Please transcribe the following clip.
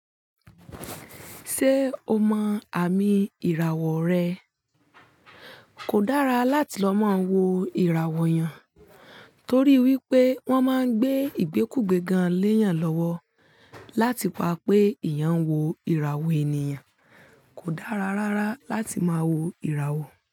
Ṣé o mọ àmì ìràwọ̀ rẹ? Kò dára láti lọ máa wo ìràwọ̀ yàn torí wípé wọ́n máa ń gbé ìgbékùgbé gan-an léèyàn lọ́wọ́. Láti pa pé ìyàn wo ìràwọ̀ ènìyàn kò dára rárá láti máa wo ìràwọ̀